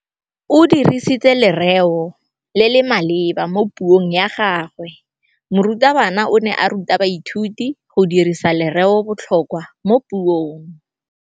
O dirisitse lerêo le le maleba mo puông ya gagwe. Morutabana o ne a ruta baithuti go dirisa lêrêôbotlhôkwa mo puong.